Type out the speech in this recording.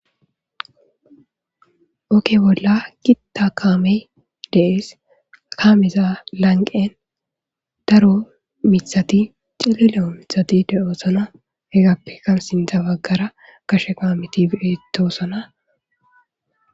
ogge bolla gitta kaamey dees kaameza lanqen daro mithati cilileo mithati de7oosona hegappekka sintha baggara kashe kaameti biritosona.